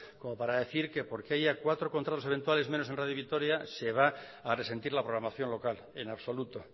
como para decir que porque haya cuatro contratos eventuales menos en radio vitoria se va a resentir la programación local en absoluto